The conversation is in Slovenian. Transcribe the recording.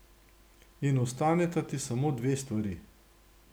In ostaneta ti samo dve stvari.